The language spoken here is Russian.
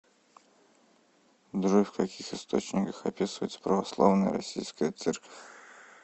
джой в каких источниках описывается православная российская церковь